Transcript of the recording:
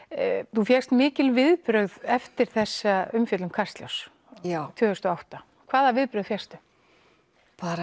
þú fékkst mikil viðbrögð eftir þessa umfjöllun Kastljóss tvö þúsund og átta hvaða viðbrögð fékkstu bara